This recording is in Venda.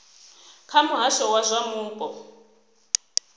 kha muhasho wa zwa mupo